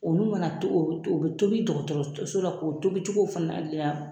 Olu mana to to bɛ tobi dɔgɔtɔrɔso la k'o tobicogo fana